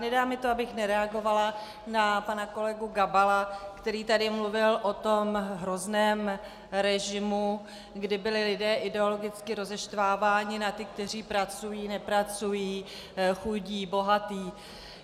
Nedá mi to, abych nereagovala na pana kolegu Gabala, který tady mluvil o tom hrozném režimu, kde byli lidé ideologicky rozeštváváni na ty, kteří pracují, nepracují, chudí, bohatí.